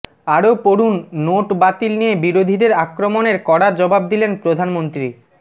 আরও পড়ুন নোট বাতিল নিয়ে বিরোধীদের আক্রমণের কড়া জবাব দিলেন প্রধানমন্ত্রী